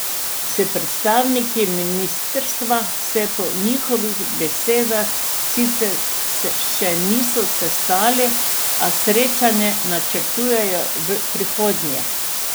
S predstavniki ministrstva se po njegovih besedah sicer še niso sestali, a srečanje načrtujejo v prihodnje.